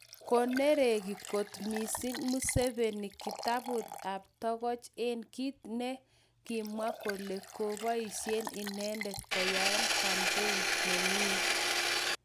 Konereki kot mising museveni kitaput ap tokoch en kit ne kinmwa kole ko poisien inendet koyaen campaign nenyin.